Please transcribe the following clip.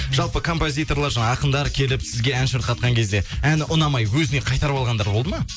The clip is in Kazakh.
жалпы композиторлар жаңағы ақындар келіп сізге ән шырқатқан кезде әні ұнамай өзіне қайтарып алғандар болды ма